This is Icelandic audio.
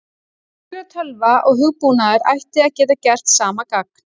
Venjuleg tölva og hugbúnaður ætti að geta gert sama gagn.